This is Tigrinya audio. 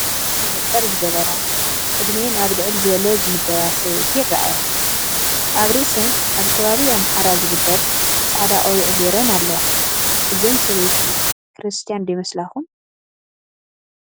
መነፀር ዝገበራ ዕድሚአን ኣብ ልዕል ዝበለ ዝምደባ ሰበይቲ ይረኣያ፡፡ ኣብ ርእሰን ኣብ ከባቢ ኣምሓራ ዝግበር ፃዕዳ ቆቢዕ ገይረን ኣለዋ፡፡ እዘን ሰበይቲ ክርስትያ ዶ ይመስላኹም?